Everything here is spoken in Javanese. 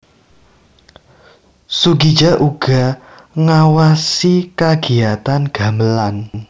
Soegija uga ngawasi kagiyatan gamelan